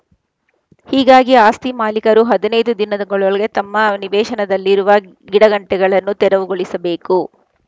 ಹೀಗಾಗಿ ಆಸ್ತಿ ಮಾಲೀಕರು ಹದಿನೈದು ದಿನದ್ ಗೊಳಗೆ ತಮ್ಮ ನಿವೇಶನಗಳಲ್ಲಿರುವ ಗಿಡಗಂಟಿಗಳನ್ನು ತೆರವುಗೊಳಿಸಬೇಕು